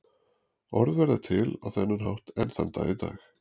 Orð verða til á þennan hátt enn þann dag í dag.